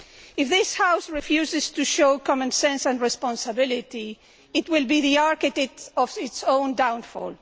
If this House refuses to show common sense and responsibility, it will be the architect of its own downfall.